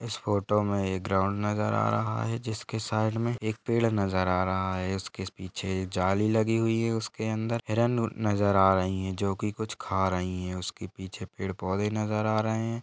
इस फोटो में एक ग्राउंड नजर आ रहा है जिसके साइड में एक पेड़ नजर आ रहा है इसके पीछे जाली लगी हुई है उसके अंदर हिरण उन नजर आ रही है जो कि कुछ खा रही है उसके पीछे पेड़ पौधे नजर आ रहे है।